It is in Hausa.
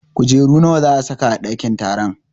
Kujeru nawa za a sa ka a ɗakin taron?